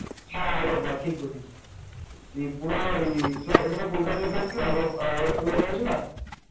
হ্যাঁ আগরপাড়া ঠিক বলেছিস ত্রিপুরা ওই মানে কলকাতা গিয়েছিলাম আগরতলায় নেমেছিলাম ।